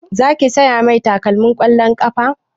Za ki saya mai takalmin ƙwallon ƙafa?